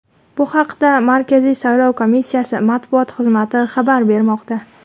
Bu haqda Markaziy saylov komissiyasi matbuot xizmati xabar bermoqda .